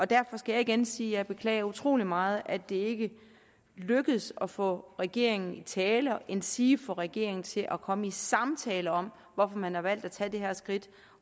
derfor skal jeg igen sige at jeg beklager utrolig meget at det ikke lykkedes at få regeringen i tale endsige få regeringen til at komme i samtale om hvorfor man har valgt at tage det her skridt